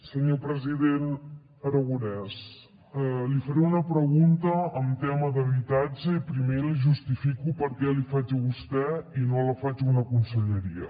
senyor president aragonès li faré una pregunta en tema d’habitatge i primer li justifico per què li faig a vostè i no la faig a una conselleria